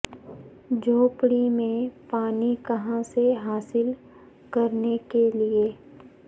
جھوپڑی میں پانی کہاں سے حاصل کرنے کے لئے